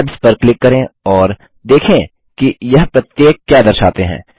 tabs पर click करें और देखें कि यह प्रत्येक क्या दर्शाते हैं